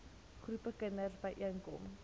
groepe kinders byeenkom